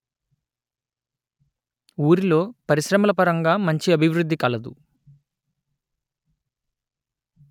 ఊరిలో పరిశ్రమల పరంగా మంచి అభివృద్ది కలదు